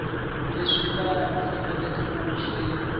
leswi va faneleke ku swi